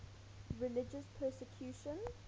religious persecution